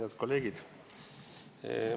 Head kolleegid!